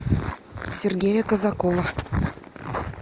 сергея казакова